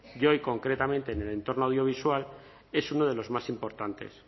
y hoy concretamente en el entorno audiovisual es uno de los más importantes